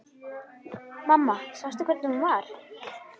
Mamma sástu hvernig hún var?